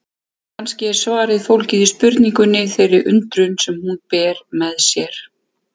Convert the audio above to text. Kannski er svarið fólgið í spurningunni, þeirri undrun sem hún ber með sér.